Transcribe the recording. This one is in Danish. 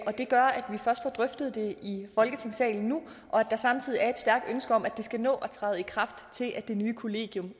gør at vi først får drøftet det i folketingssalen nu og at der samtidig er et stærkt ønske om at det skal nå at træde i kraft til at det nye kollegium